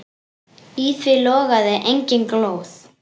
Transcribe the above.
Í því logaði engin glóð.